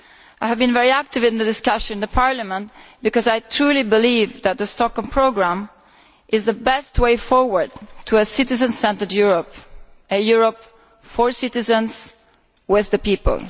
I have been very active in the discussions in Parliament because I truly believe that the Stockholm Programme is the best way forward to a citizen centred Europe a Europe for citizens, with the people.